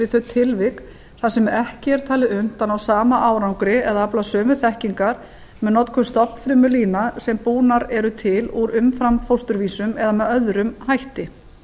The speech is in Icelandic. þau tilvik þar sem ekki er talið unnt að ná sama áfanga eða afla sömu þekkingar með notkun stofnfrumulína sem búnar eru til úr umframfósturvísum eða með öðrum hætti